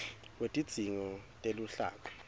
wetidzingo teluhlaka